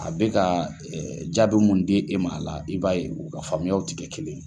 A bɛ ka jaabi mun di e ma a la i b'a ye u ka faamuyaw tɛ kɛ kelen ye.